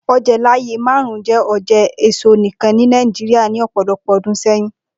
Oje laaye marun jẹ oje eso nikan ni Nigeria ni ọpọlọpọ ọdun sẹyin.